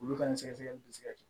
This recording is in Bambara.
Olu ka nin sɛgɛsɛgɛli bɛ se ka kɛ